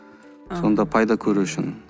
сонда пайда көру үшін